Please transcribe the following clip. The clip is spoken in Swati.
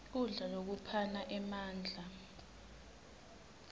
kudla lokuphana emandla